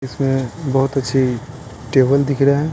इसमें बहुत अच्छी टेबल दिख र है।